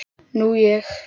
Nú ég.